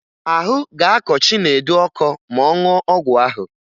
Ahụ ga-akọ Chinedu ọkọ ma ọ ṅụọ ọgwụ ahụ